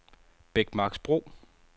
Bækmarksbro